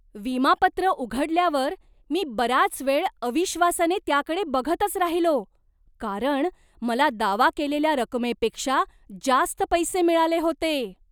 विमा पत्र उघडल्यावर मी बराच वेळ अविश्वासाने त्याकडे बघतच राहिलो, कारण मला दावा केलेल्या रकमेपेक्षा जास्त पैसे मिळाले होते.